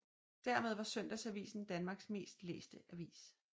Dermed var Søndagsavisen Danmarks mest læste avis